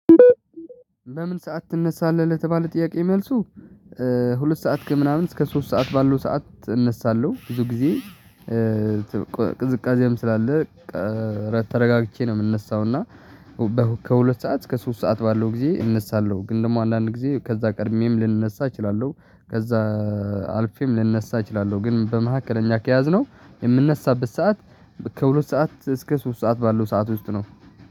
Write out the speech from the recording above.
በምን ሰዓት ትነሳለህ? ለተባለው ጥያቄ መልሱ ሁለት ሰዓት ከምናምን እስከ ሶስት ሰዓት ባለው ሰዓት እነሳለሁ። ብዙ ጊዜ። ቅዝቃዜም ስላለ ተረጋግቼ ነው የምነሳው። እና ከሁለት ሰዓት እስከ ሶስት ሰዓት ባለው ጊዜ እነሳለሁ። ግን ደግሞ አንዳንድ ጊዜ ከዛ ቀድሜም ልንነሳ እችላለሁ ከዛ አልፌም ልንነሳ እችላለሁ። ግን በመኋከለኛ ከያዝነው የምንነሳበት ሰዓት ከሁለት ሰዓት እስከ ሶስት ሰዓት ባለው ሰዓት ውስጥ ነው።